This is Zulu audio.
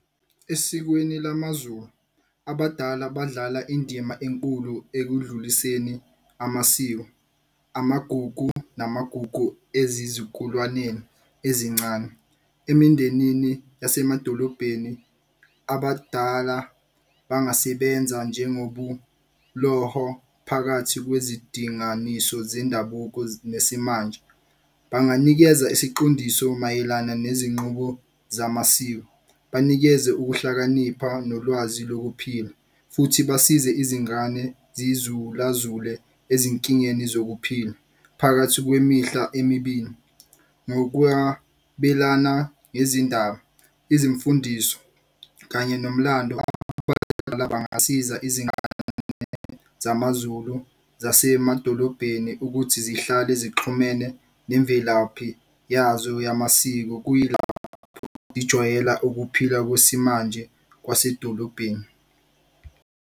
Esikweni lamaZulu abadala badlala indima enkulu ekudluliseni amasiko, amagugu namagugu ezizukulwaneni ezincane. Emindenini yasemadolobheni abadala bangasebenza phakathi kwezidinganiso zendabuko nesimanje. Banganikeza isiqondiso mayelana nezinqubo zamasiko, banikeze ukuhlakanipha nolwazi lokuphila. Futhi basize izingane zizula-zule ezinkingeni zokuphila phakathi kwemihla emibili ngezindaba. Izimfundiso kanye nomlando abadala bangasiza izingane zamaZulu zasemadolobheni ukuthi zihlale zixhumene nemvelaphi yazo yamasiko ukuphila kwesimanje kwasedolobheni.